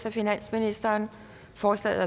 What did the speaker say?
af finansministeren forslagene